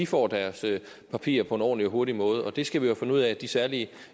få deres papirer på en ordentlig og hurtig måde det skal vi have fundet ud af så de særlige